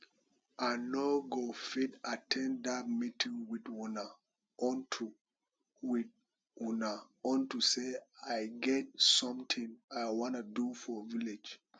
i no go fit at ten d dat meeting with una unto with una unto say i get something i wan do for village